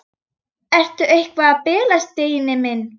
Ertu eitthvað að bilast, Steini minn?